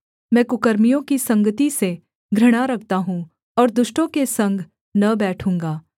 मैं कुकर्मियों की संगति से घृणा रखता हूँ और दुष्टों के संग न बैठूँगा